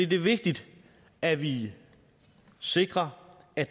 det er vigtigt at vi sikrer at